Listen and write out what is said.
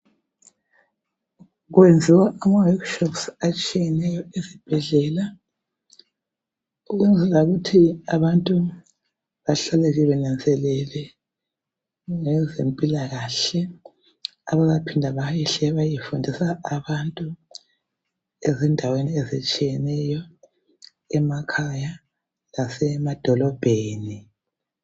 Kuyenziwa ama workshops atshiyeneyo esibhedlela ukwenzela ukuthi abantu bahlale benanzelele ngezempila kahle baphinda bayehle bayefundisa abantu endaweni ezihlukeneyo emakhaya lasemadolobheni.